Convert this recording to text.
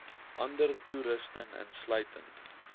ander toerusting insluitend